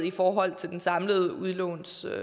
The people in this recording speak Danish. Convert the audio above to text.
i forhold til det samlede udlånsbeløb